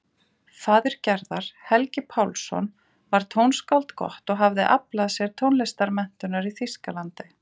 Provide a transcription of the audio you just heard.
Faðir Gerðar, Helgi Pálsson, var tónskáld gott og hafði aflað sér tónlistarmenntunar í Þýskalandi.